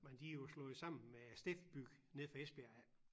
Men de jo slået sammen med Steff-Byg nede fra Esbjerg af